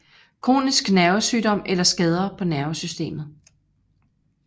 Kronisk nervesygdom eller skader på nervesystemet